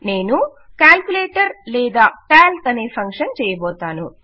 నేను కాల్కులేటర్ లేదా కాల్క్ అనే ఫంక్షన్ చేయబోతాను